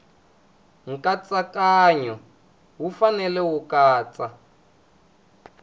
nkatsakanyo wu fanele ku katsa